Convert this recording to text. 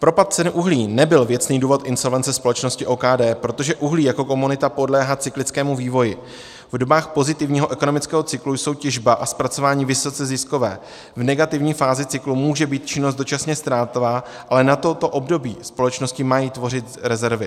Propad cen uhlí nebyl věcný důvod insolvence společnosti OKD, protože uhlí jako komodita podléhá cyklickému vývoji, v dobách pozitivního ekonomického cyklu jsou těžba a zpracování vysoce ziskové, v negativní fázi cyklu může být činnost dočasně ztrátová, ale na toto období společnosti mají tvořit rezervy.